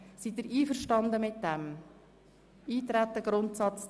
Sind Sie mit dem Vorgehen einverstanden?